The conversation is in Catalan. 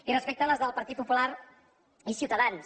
i respecte a les del partit popular i ciutadans